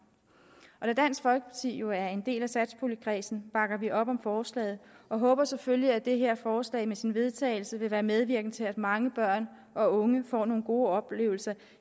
og da dansk folkeparti jo er en del af satspuljekredsen bakker vi op om forslaget og håber selvfølgelig at det her forslag med sin vedtagelse vil være medvirkende til at mange børn og unge får nogle gode oplevelser